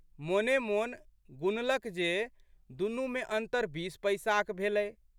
मोनेमोन गुणलक जे दुनूमे अन्तर बीस पैसाक भेलै।